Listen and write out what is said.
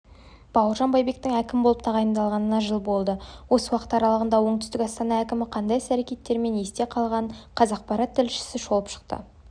бауыржан байбектің әкім боп тағайындалғанына жыл болды осы уақыт аралығында оңтүстік астана әкімі қандай іс-әрекетімен есте қалғанын қазақпарат тілшісі шолып шықты